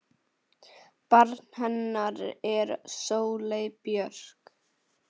Barn hennar er Sóley Björk.